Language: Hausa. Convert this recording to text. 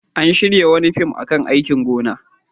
An shirya wani fim a kan aikin gona.